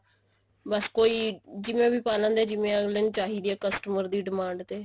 ਬੱਸ ਕੋਈ ਜਿਵੇਂ ਵੀ ਪਾ ਲਿੰਦੇ ਐ ਜਿਵੇਂ ਵੀ ਆਗਲੇ ਨੂੰ ਚਾਹੀਦੇ ਐ customer ਦੀ demand ਤੇ